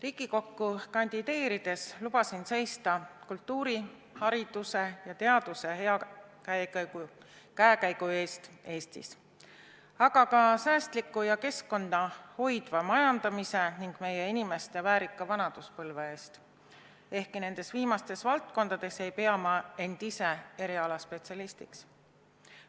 Riigikokku kandideerides lubasin seista kultuuri, hariduse ja teaduse hea käekäigu eest Eestis, aga ka säästliku ja keskkonda hoidva majandamise ning meie inimeste väärika vanaduspõlve eest, ehkki nendes viimastes valdkondades ei pea ma end ise spetsialistiks.